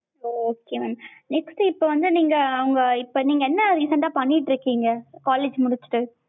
ஓ okay mam next இப்ப வந்து நீங்க அவங்க இப்ப நீங்க என்ன recent டா பண்ணிட்டு இருக்கீங்க? college முடிச்சிட்டு